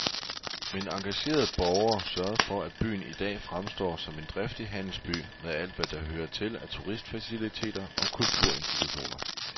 Men engagerede borgere sørgede for at byen i dag fremstår som en driftig handelsby, med alt hvad der hører til af turistfaciliteter og kulturinstitutioner.